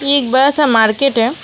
एक बड़ा सा मार्केट है।